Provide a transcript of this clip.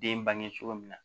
Den bange cogo min na